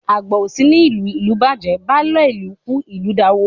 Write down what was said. Àgbà ò sí ní ìlú, ìlú bàjẹ́, baálé ilé kú ilé daworo.